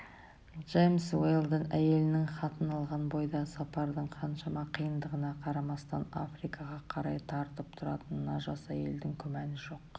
джемс уэлдон әйелінің хатын алған бойда сапардың қаншама қиындығына қарамастан африкаға қарай тартып тұратынына жас әйелдің күмәні жоқ